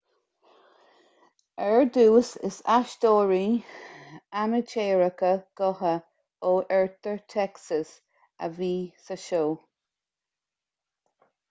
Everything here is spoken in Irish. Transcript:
ar dtús is aisteoirí amaitéaracha gutha ó oirthear texas a bhí sa seó